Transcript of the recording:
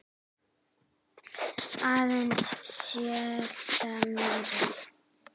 Aðeins sléttar mýrar.